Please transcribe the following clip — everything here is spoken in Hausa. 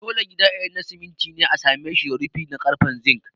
Dole gida idan na simiti ne a sa mishi rufi na karfen zink